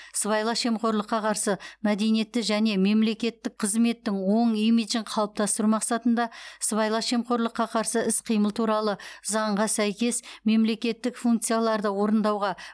сыбайлас жемқорлыққа қарсы мәдениетті және мемлекеттік қызметтің оң имиджін қалыптастыру мақсатында сыбайлас жемқорлыққа қарсы іс қимыл туралы заңға сәйкес мемлекеттік функцияларды орындауға